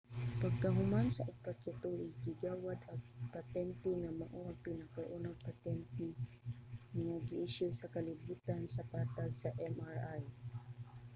pagkahuman sa upat ka tuig gigawad ang patente nga mao ang pinakaunang petente nga giisyu sa kalibutan sa patag sa mri